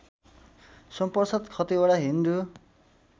Somprasad Khatiwada Hindu